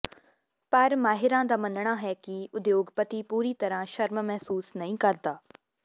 ਪਰ ਮਾਹਿਰਾਂ ਦਾ ਮੰਨਣਾ ਹੈ ਕਿ ਉਦਯੋਗਪਤੀ ਪੂਰੀ ਤਰ੍ਹਾਂ ਸ਼ਰਮ ਮਹਿਸੂਸ ਨਹੀਂ ਕਰਦਾ